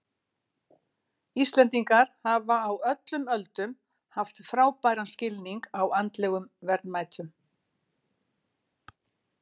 Íslendingar hafa á öllum öldum haft frábæran skilning á andlegum verðmætum.